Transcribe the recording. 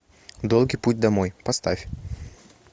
долгий путь домой поставь